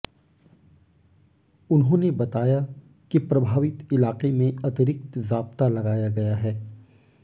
उन्होंने बताया कि प्रभावित इलाके में अतिरिक्त जाब्ता लगाया गया है